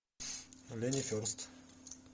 лени ферст